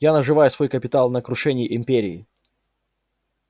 я наживаю свой капитал на крушении империи